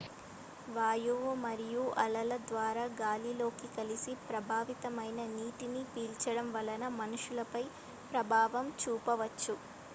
వాయువు మరియు అలల ద్వారా గాలిలోకి కలిసి ప్రభావితమైన నీటిని పీల్చడం వలన మనుషులపై ప్రభావం చూపవచ్చు